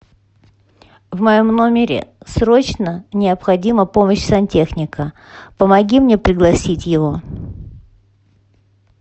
в моем номере срочно необходима помощь сантехника помоги мне пригласить его